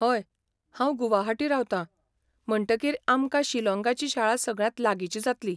हय, हांव गुवाहाटी रावतां, म्हणटकीर आमकां शिलॉंगाची शाळा सगळ्यांत लागींची जातली.